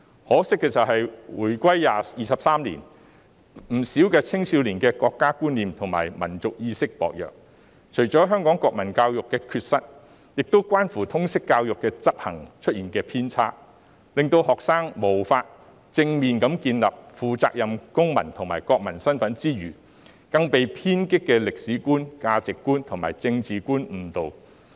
可惜的是，回歸23年，不少青少年的國家觀念及民族意識薄弱，除了歸因於香港國民教育的缺失，亦關乎通識教育的執行出現偏差，令學生無法正面地建立負責任的公民及國民身份，更被偏激的歷史觀、價值觀及政治觀誤導。